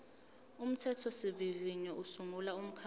umthethosivivinyo usungula umkhandlu